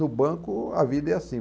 No banco, a vida é assim.